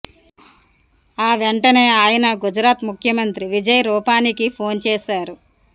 ఆ వెంటనే ఆయన గుజరాత్ ముఖ్యమంత్రి విజయ్ రుపాణీకి ఫోన్ చేశారు